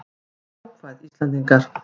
Verum jákvæð Íslendingar!